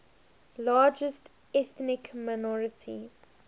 largest ethnic minority